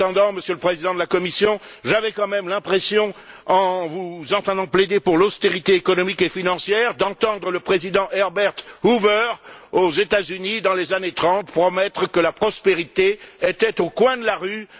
Monsieur le Président de la Commission, j'avais quand même l'impression en vous entendant plaider pour l'austérité économique et financière d'entendre le Président Herbert Hoover, aux États Unis dans les années 30, promettre que la prospérité était au coin de la rue.